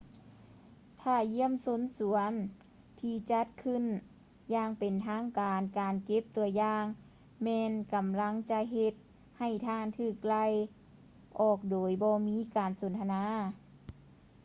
ຖ້າຢ້ຽມຊົມສວນທີ່ຈັດຂຶ້ນຢ່າງເປັນທາງການ ການເກັບ ຕົວຢ່າງ ແມ່ນກຳລັງຈະເຮັດໃຫ້ທ່ານຖືກໄລ່ອອກໂດຍບໍ່ມີການສົນທະນາ